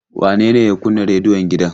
Wane ne ya kunna rediyon gidan?